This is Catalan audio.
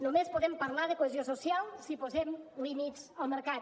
només podem parlar de cohesió social si posem límits al mercat